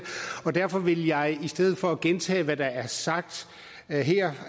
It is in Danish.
og derfor vil jeg i stedet for at gentage hvad der er sagt her her